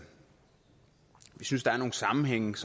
synes der er nogle sammenhænge